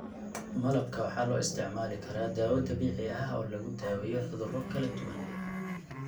Malabka waxaa loo isticmaali karaa dawo dabiici ah oo lagu daweeyo cudurro kala duwan.